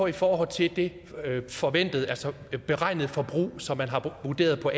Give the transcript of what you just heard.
i forhold til det forventede altså det beregnede forbrug som man vurderer for